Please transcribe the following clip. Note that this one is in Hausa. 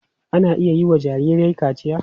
Ana iya yiwa jarirai kaciya.